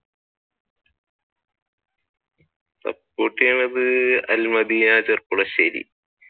Support ചെയ്യുന്നത്